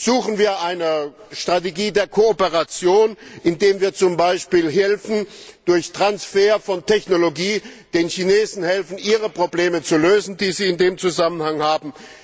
Suchen wir eine Strategie der Kooperation, indem wir zum Beispiel durch Transfer von Technologie den Chinesen helfen, ihre Probleme zu lösen, die sie in dem Zusammenhang haben?